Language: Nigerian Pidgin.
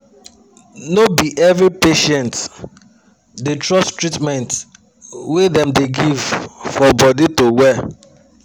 no be everi patient dey trust treatment wey dem da give for body to well